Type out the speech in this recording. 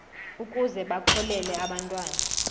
ukuze bakhokele abantwana